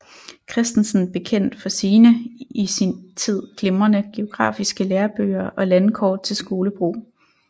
Christensen bekendt for sine i sin tid glimrende geografiske lærebøger og landkort til skolebrug